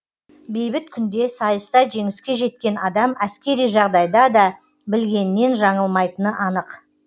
бейбіт күнде сайыста жеңіске жеткен адам әскери жағдайда да білгенінен жаңылмайтыны анық